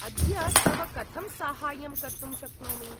अद्य तव कथं साहाय्यं कर्तुं शक्नोमि?